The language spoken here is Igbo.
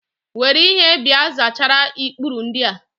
Were ihe bịa zachara ikpuru ndịa!